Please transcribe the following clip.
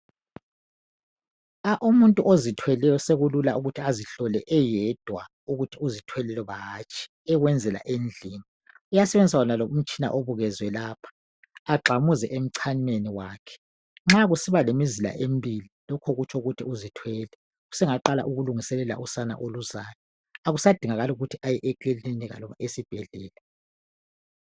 Umuntu ozithweleyo sekulula ukuthi azihlole eyedwa ukuthi uzithwele loba hatshi ekwenzela endlini .Uyasebenzisa wonalo umtshina obukezwe lapha .Agxamuze emchameni wakhe .Nxa kusiba lemizila emibili lokho kutsho ukuthi uzithwele. Sengaqala ukulungiselela usana oluzayo .Akusadingakali ukuthi aye ekilinika kumbe esibhedlela .